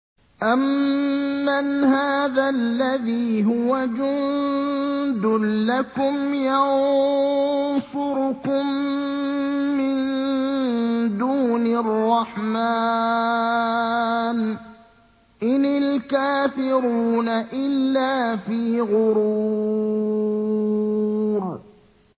أَمَّنْ هَٰذَا الَّذِي هُوَ جُندٌ لَّكُمْ يَنصُرُكُم مِّن دُونِ الرَّحْمَٰنِ ۚ إِنِ الْكَافِرُونَ إِلَّا فِي غُرُورٍ